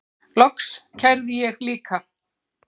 Loks kærði ég líka.